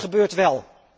Maar het gebeurt wel.